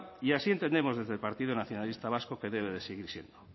y así entendemos desde el partido nacionalista vasco que debe de seguir siendo